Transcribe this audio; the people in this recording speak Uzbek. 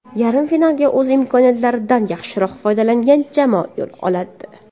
Yarim finalga o‘z imkoniyatlaridan yaxshiroq foydalangan jamoa yo‘l oladi.